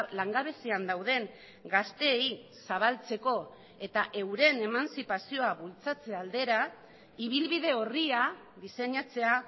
langabezian dauden gazteei zabaltzeko eta euren emantzipazioa bultzatze aldera ibilbide orria diseinatzea